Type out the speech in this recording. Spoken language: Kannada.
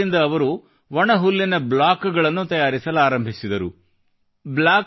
ಈ ಯಂತ್ರದಿಂದ ಅವರು ಒಣ ಹುಲ್ಲಿನ ಬ್ಲಾಕ್ ಗಳನ್ನು ತಯಾರಿಸಲಾರಂಭಿಸಿದರು